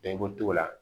Dɔn i b'o t'o la